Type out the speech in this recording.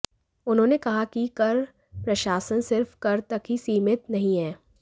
उन्होंने कहा कि कर प्रशासन सिर्फ कर तक ही सीमित नहीं है